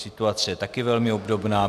Situace je také velmi obdobná.